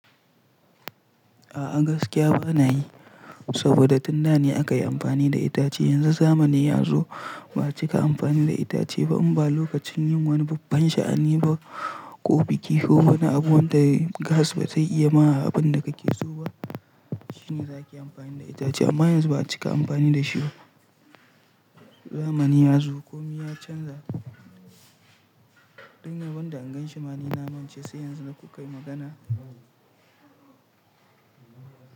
A'a gaskiya bana yi, saboda tun da ne aka yi amfani da itace. Yanzu zamani ya zo ba a cika amfani da itace ba, in ba lokacin yin wani babban sha'ani ba ko biki, ko wani abu wanda gas baze iya ma abin da kake so ba, shine za ki yi amfani da itace. Amma yanzu ba a cika amfani da shi ba. Zamani ya zo, komi ya canza. Ni rabon da in ganshi ma ni na mance, sai yanzu na ku kai magana.